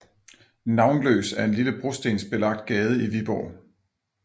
Navnløs er en lille brostensbelagt gade i Viborg